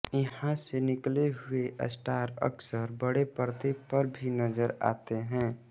यहां से निकले हुए स्टार अकसर बड़े पर्दे पर भी नजर आते हैं